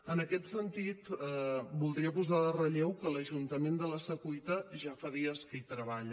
en aquest sentit voldria posar en relleu que l’ajuntament de la secuita ja fa dies que hi treballa